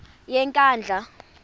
yenkandla